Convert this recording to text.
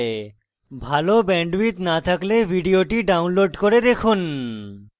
ভাল bandwidth না থাকলে ভিডিওটি download করে দেখুন